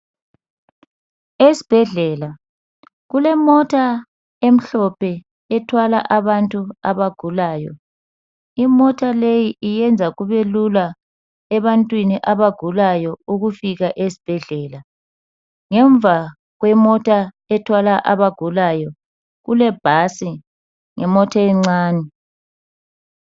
Esibhedlela kulemota emhlophe ethwala abantu abagulayo, imota leyi iyenza kubelula abantwini abagulayo ukufika esibhedlela, ngemva kwemota ethwala abagulayo kulebhasi lemota encane.